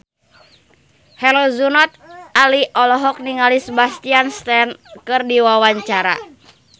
Herjunot Ali olohok ningali Sebastian Stan keur diwawancara